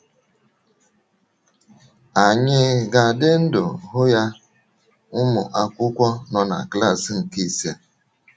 Ànyị ga - adị ndụ hụ ya? ’— Ụmụ akwụkwọ nọ na klas nke ise